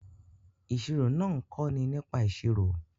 Ìṣirò náà ń kọ́ni nípa ìṣirò